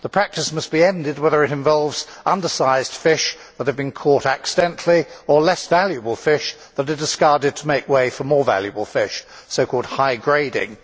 The practice must be ended, whether it involves under sized fish that have been caught accidentally, or less valuable fish that are discarded to make way for more valuable fish, so called high grading'.